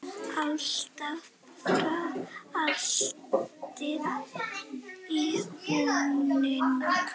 Alltaf var haldið í vonina.